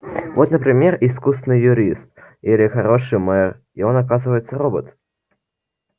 вот например искусный юрист или хороший мэр и он оказывается робот